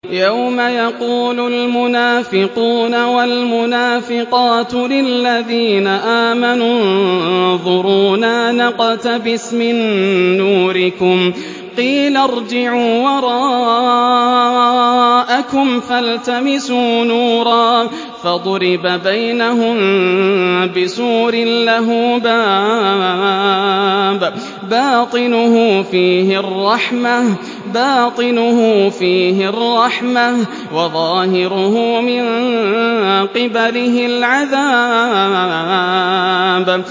يَوْمَ يَقُولُ الْمُنَافِقُونَ وَالْمُنَافِقَاتُ لِلَّذِينَ آمَنُوا انظُرُونَا نَقْتَبِسْ مِن نُّورِكُمْ قِيلَ ارْجِعُوا وَرَاءَكُمْ فَالْتَمِسُوا نُورًا فَضُرِبَ بَيْنَهُم بِسُورٍ لَّهُ بَابٌ بَاطِنُهُ فِيهِ الرَّحْمَةُ وَظَاهِرُهُ مِن قِبَلِهِ الْعَذَابُ